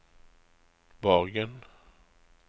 Borgen